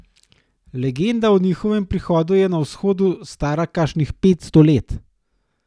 Legenda o njegovem prihodu je na Vzhodu stara kakšnih petsto let.